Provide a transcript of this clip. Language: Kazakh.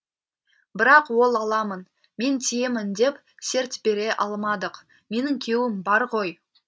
бірақ ол аламын мен тиемін деп серт бере алмадық менің күйеуім бар ғой